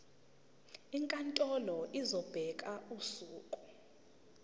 inkantolo izobeka usuku